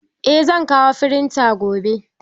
Eh zan kawo firitan gobe.